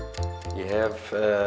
ég hef